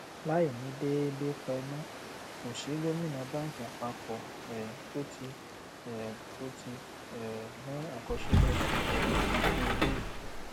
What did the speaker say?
láìní déédé pẹnú kò sí gómìnà bánkì àpapọ um tó tíì um tó tíì um ní àkọsílẹ um bí eléyìí